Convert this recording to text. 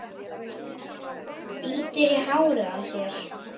Bítur í hárið á sér.